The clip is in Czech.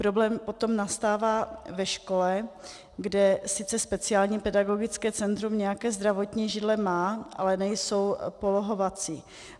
Problém potom nastává ve škole, kde sice speciální pedagogické centrum nějaké zdravotní židle má, ale nejsou polohovací.